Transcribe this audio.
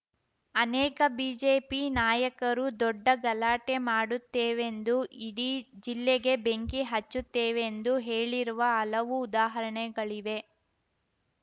ಅನೇಕ ಬಿಜೆಪಿ ನಾಯಕರು ದೊಡ್ಡ ಗಲಾಟೆ ಮಾಡುತ್ತೇವೆಂದು ಇಡೀ ಜಿಲ್ಲೆಗೆ ಬೆಂಕಿ ಹಚ್ಚುತ್ತೇವೆಂದು ಹೇಳಿರುವ ಹಲವು ಉದಾಹರಣೆಗಳಿವೆ